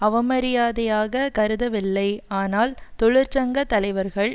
அவமரியாதையாக கருதவில்லை ஆனால் தொழிற்சங்க தலைவர்கள்